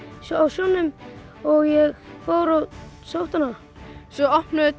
sjónum og ég fór og sótti hana svo opnuðum